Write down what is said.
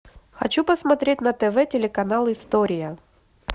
хочу посмотреть на тв телеканал история